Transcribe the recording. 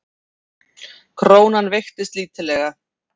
Krónan veikist lítillega